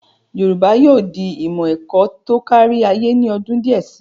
Yorùbá yóò di ìmọ̀ ẹ̀kọ́ tó kárí ayé ní ọdún díẹ̀ si.